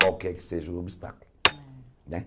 Qualquer que seja o obstáculo né.